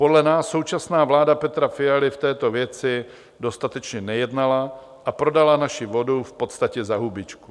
Podle nás současná vláda Petra Fialy v této věci dostatečně nejednala a prodala naši vodu v podstatě za hubičku.